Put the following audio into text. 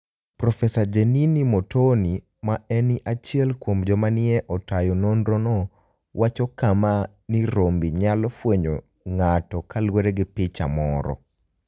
ProfeSaa Jeniniy Mortoni, ma eni achiel kuom joma ni e otayo nonirono, wacho kama nii rombe niyalo fweniyo nig'ato kaluwore gi picha moro.